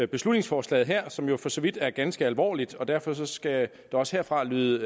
beslutningsforslaget her som jo for så vidt er ganske alvorligt og derfor skal der også herfra lyde